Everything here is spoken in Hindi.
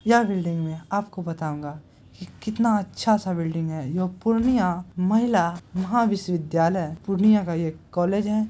यह बिल्डिंग में आपको बताउगा की कितना अच्छा-सा बिल्ड़िग है यह पूर्णिया महिला महाविश्वविद्यालय पूर्णिया का ये कॉलेज है।